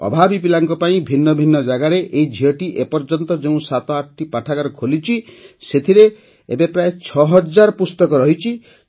ଅଭାବୀ ପିଲାଙ୍କ ପାଇଁ ଭିନ୍ନ ଭିନ୍ନ ଜାଗାରେ ଏହି ଝିଅଟି ଏ ପର୍ଯ୍ୟନ୍ତ ଯେଉଁ ସାତଟି ପାଠାଗାର ଖୋଲିଛି ସେଥିରେ ଏବେ ପ୍ରାୟ ୬ ହଜାର ପୁସ୍ତକ ରହିଛି